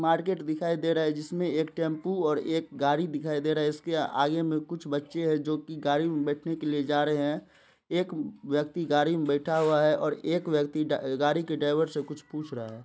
Market दिखाई दे रहा है जिसमें एक टेंपो और एक गाड़ी दिखाई दे रहा है | इसके आगे मे कुछ बच्चे हैं जो की गाड़ी में बैठने के लिए जा रहे हैं | एक व्यक्ति गाड़ी में बैठा हुआ है और एक और एक व्यक्ति गाड़ी के ड्राइवर से कुछ पूछ रहा है ।